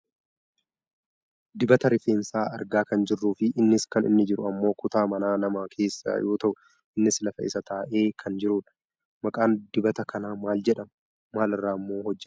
Dibata rifensaa argaa kan jirru fi innis kan inni jiru ammoo kutaa mana namaa keessa yoo ta'u innis lafa isaa taa'ee kan jirudha. Maqaan diabata kanaa maal jedhama? Maal irraammoo hojjatama?